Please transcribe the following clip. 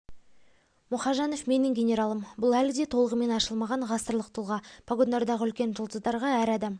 мұхажанов менің генералым бұл әлі де толығымен ашылмаған ғасырлық тұлға погондардағы үлкен жұлдыздарға әр адам